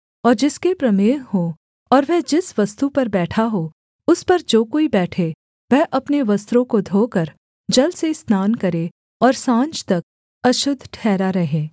और जिसके प्रमेह हो और वह जिस वस्तु पर बैठा हो उस पर जो कोई बैठे वह अपने वस्त्रों को धोकर जल से स्नान करे और साँझ तक अशुद्ध ठहरा रहे